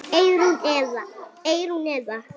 Eyrún Eva.